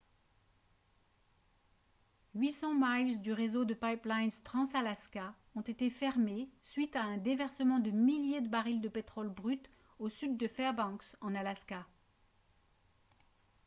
800 miles du réseau de pipelines trans-alaska ont été fermés suite à un déversement de milliers de barils de pétrole brut au sud de fairbanks en alaska